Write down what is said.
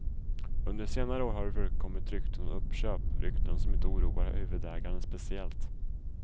Under senare år har det förekommit rykten om uppköp, rykten som inte oroar huvudägaren speciellt.